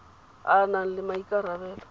a a nang le maikarabelo